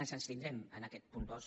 ens abstindrem en aquest punt dos